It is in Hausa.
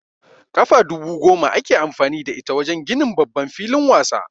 Kafa dubu goma ake amfani da ita wajen ginin babban filin wasa